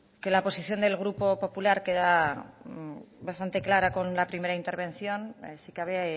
que la posición del grupo popular queda bastante clara con la primera intervención si cabe